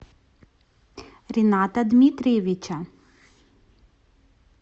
рената дмитриевича